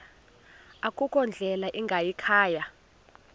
akukho ndlela ingayikhaya